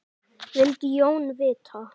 vildi Jón vita.